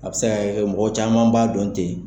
A bɛ se ka kɛ mɔgɔ caman b'a dɔn tɛ.